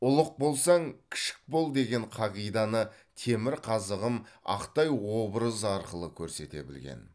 ұлық болсаң кішік бол деген қағиданы темірқазығым ақтай образы арқылы көрсете білген